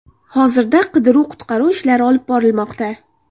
Hozirda qidiruv−qutqaruv ishlari olib borilmoqda.